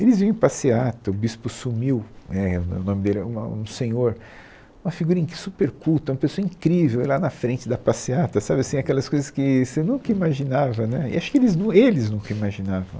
Eles vinham em passeata, o bispo sumiu, é, o no o nome dele era, um nome, um senhor, uma figura in, super culta, uma pessoa incrível, lá na frente da passeata, sabe assim, aquelas coisas que você nunca imaginava, né, e acho que eles nun, eles nunca imaginavam.